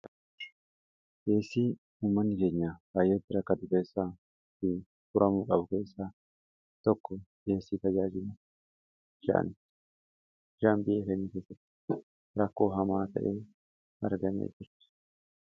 deessii humman iseenyaa baayyootti rakka dukeessaa fi furamuu qabu keessaa tokko ieessii tajaajimu sha'an jaanbi'fni keessatti rakkoo hamaa ta'ee argamee kurtu